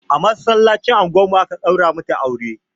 A masallacin unguwar mu aka ɗaura mata aure